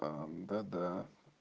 ээ да да